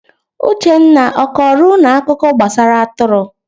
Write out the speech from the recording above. Uchenna, ọ kọrọ unu akụkọ gbasara atụrụ?